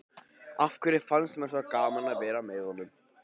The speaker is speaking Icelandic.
Af hverju fannst mér svona gaman að vera með honum?